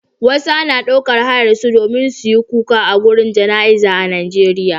wasu ana daukar hayar su domin suyi kuka agurin jana iza a Najeriya